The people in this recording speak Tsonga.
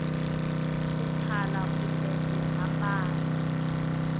ku thala kumbe ku hambana